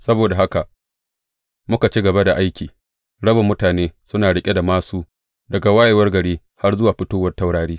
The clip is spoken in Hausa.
Saboda haka muka ci gaba da aiki, rabin mutane suna riƙe da māsu, daga wayewar gari har zuwa fitowar taurari.